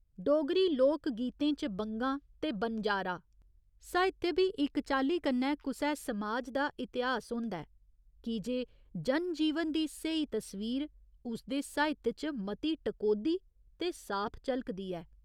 डोगरी लोक गीतें च बंगां ते बनजारा साहित्य बी इक चाल्ली कन्नै कुसै समाज दा इतिहास होंदा ऐ की जे जनजीवन दी स्हेई तस्वीर उसदे साहित्य च मती टकोह्दी ते साफ झलकदी ऐ।